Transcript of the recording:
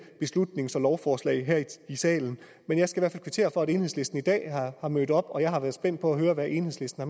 beslutnings og lovforslag her i salen men jeg skal kvittere for at enhedslisten i dag er mødt op og jeg har været spændt på at høre hvad enhedslisten